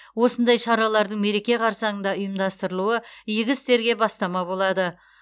осындай шаралардың мереке қарсаңында ұйымдастырылуы игі істерге бастама болады